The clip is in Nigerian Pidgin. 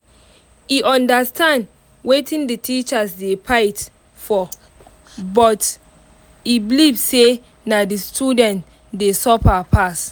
e understand wetin the teachers dey fight for but e believe say na the students dey dey suffer pass.